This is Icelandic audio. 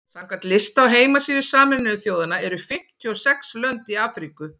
samkvæmt lista á heimasíðu sameinuðu þjóðanna eru fimmtíu og sex lönd í afríku